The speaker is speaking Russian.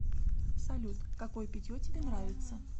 салют какое питье тебе нравится